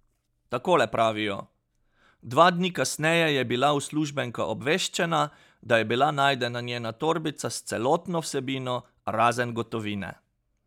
Takole pravijo: 'Dva dni kasneje je bila uslužbenka obveščena, da je bila najdena njena torbica s celotno vsebino, razen gotovine.